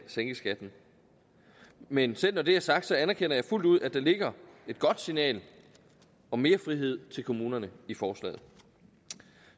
sænke skatten men selv når det er sagt anerkender jeg fuldt ud at der ligger et godt signal om mere frihed til kommunerne i forslaget